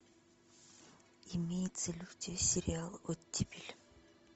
имеется ли у тебя сериал оттепель